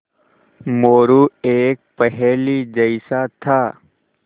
मोरू एक पहेली जैसा था